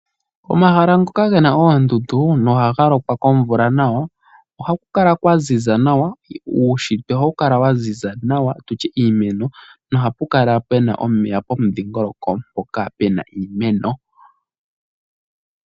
Omahala ngoka gena oondundu na ohagalokwa nawa komvula ohakukala kwaziza nawa uuntsitwe ohawukala waziza nawa nenge tutye iimeno, ohapukala puna omeya pomudhingoloko mpoka puna iimeno.